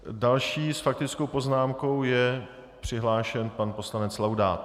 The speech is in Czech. Další s faktickou poznámkou je přihlášen pan poslanec Laudát.